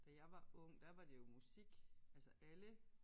Da jeg var ung der var det jo musik altså alle